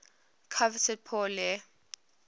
coveted pour le